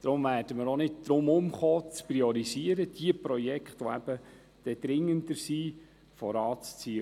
Deshalb werden wir auch nicht darum herumkommen, zu priorisieren und diejenigen Projekte, die dringender sind, vorzuziehen.